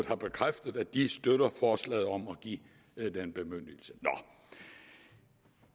har bekræftet at de støtter forslaget om at give den bemyndigelse